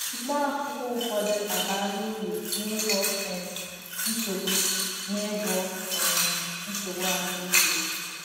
Mkpá akwụkwọ ụfọdụ abala uru n’ịgwọ um nsogbu n’ịgwọ um nsogbu ahụ ike